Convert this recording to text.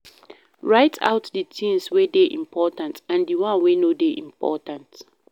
Write out di things wey dey important and di one wey no dey important